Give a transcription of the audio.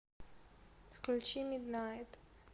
включи миднайт